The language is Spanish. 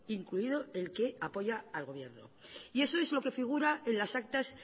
incluido el que apoya al gobierno y eso es lo que figura en las actas